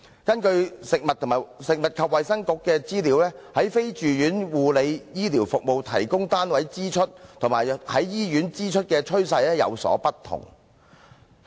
根據食物及衞生局的資料，在非住院護理醫療服務提供單位支出及在醫院支出的趨勢有所不同。